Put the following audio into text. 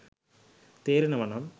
තේරෙනව නම්